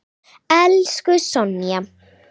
Elsku Sonja.